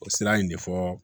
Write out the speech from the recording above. O sira in de fɔ